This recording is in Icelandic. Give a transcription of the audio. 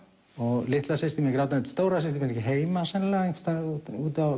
og litla systir mín grátandi stóra systir mín ekki heima sennilega úti á